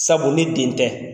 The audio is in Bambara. Sabu ne den tɛ